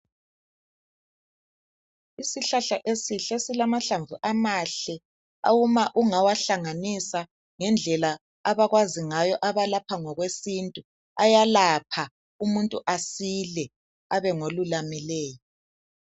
Isihlahla esihle silamahlamvu amahle uma ungawahlanganisa ngendlela abakwazi ngayo abalapha ngokwesintu ayalapha umuntu asile abe ngolulamileyo.